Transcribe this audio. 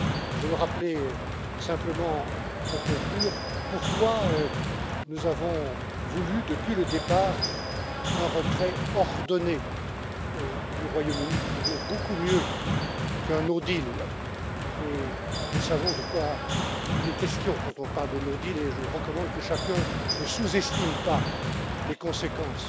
Je veux rappeler simplement pour conclure pourquoi nous avons voulu depuis le départ un retrait ordonné du Royaume Uni, qui vaut beaucoup mieux qu'un no deal, et nous savons de quoi il est question quand on parle de no deal, et je recommande que chacun ne sous estime pas les conséquences